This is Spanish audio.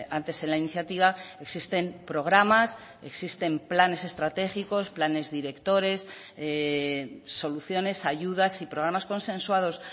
antes en la iniciativa existen programas existen planes estratégicos planes directores soluciones ayudas y programas consensuados